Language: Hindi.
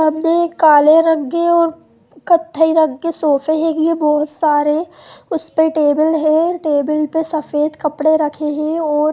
सामने एक काले रंग के और कथई रंग के सोफ़े लगी है बहोत सारे उसपे टेबल है टेबल पे सफेद कपड़े रखे है और--